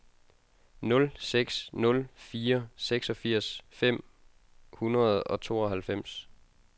nul seks nul fire seksogfirs fem hundrede og tooghalvfems